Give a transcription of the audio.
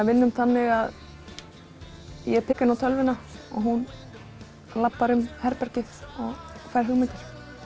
vinnum þannig að ég pikka inn á tölvuna og hún labbar um herbergið og fær hugmyndir